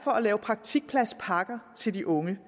at lave praktikpladspakker til de unge